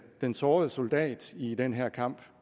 den sårede soldat i den her kamp